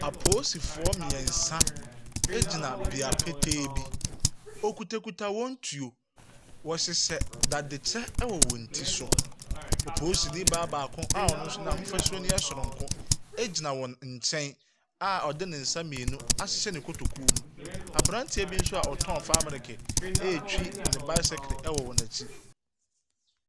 Apoosifoɔ mmiɛnsa bea petee bi. Okutakuta wɔn tuo. Wɔhyehyɛ dadekyɛ wɔ wɔn I so. Opoosini baa baako a ɔno nso n'ahofasuo no yɛ soronko gyina wɔn nkyɛn a ɔde ne nsa mmienu ahyehyɛ ne kotokuo mu. Abranteɛ bi nso a ɔtɔn fan milike retwi ne bicycle wɔ n'akyi.